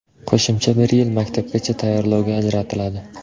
Qo‘shimcha bir yil maktabgacha tayyorlovga ajratiladi.